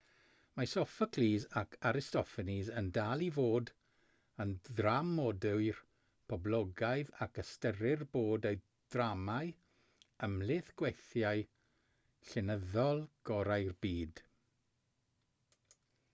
mae sophocles ac aristophanes yn dal i fod yn ddramodwyr poblogaidd ac ystyrir bod eu dramâu ymhlith gweithiau llenyddol gorau'r byd